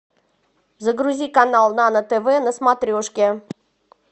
загрузи канал нано тв на смотрешке